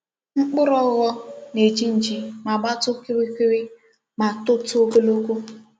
Mkpuru ogho na-eji nji ma gbatuo okirikiri ma tout ogologo.